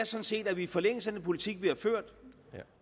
set at vi i forlængelse af den politik vi har ført